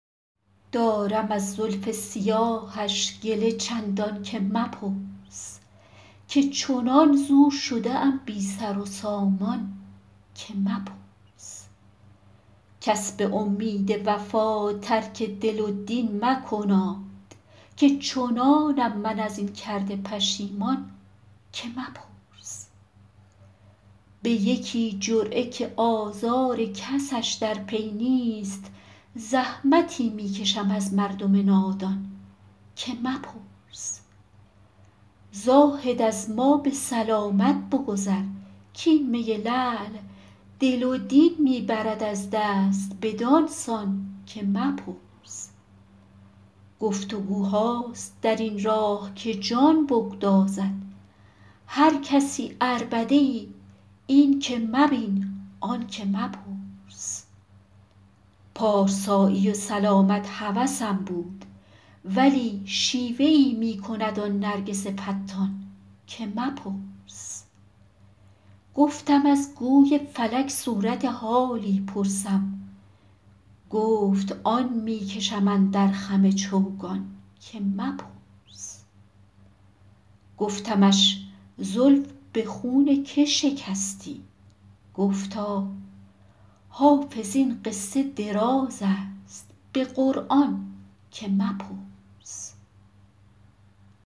دارم از زلف سیاهش گله چندان که مپرس که چنان ز او شده ام بی سر و سامان که مپرس کس به امید وفا ترک دل و دین مکناد که چنانم من از این کرده پشیمان که مپرس به یکی جرعه که آزار کسش در پی نیست زحمتی می کشم از مردم نادان که مپرس زاهد از ما به سلامت بگذر کـ این می لعل دل و دین می برد از دست بدان سان که مپرس گفت وگوهاست در این راه که جان بگدازد هر کسی عربده ای این که مبین آن که مپرس پارسایی و سلامت هوسم بود ولی شیوه ای می کند آن نرگس فتان که مپرس گفتم از گوی فلک صورت حالی پرسم گفت آن می کشم اندر خم چوگان که مپرس گفتمش زلف به خون که شکستی گفتا حافظ این قصه دراز است به قرآن که مپرس